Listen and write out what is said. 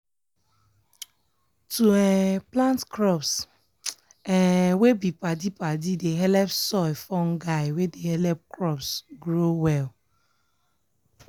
to um plant crops um wey be padi-padi dey helep soil fungi wey dey helep crops grow well.